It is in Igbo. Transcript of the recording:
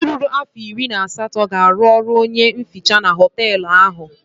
Onye ruru afọ iri na asatọ ga-arụ ọrụ onye nhicha na họteelụ ahụ.